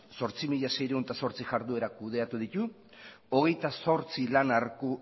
zortzi mila seiehun eta zortzi jarduera kudeatu ditu hogeita zortzi